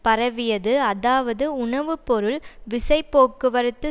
பரவியது அதாவது உணவு பொருள் விசை போக்குவரத்து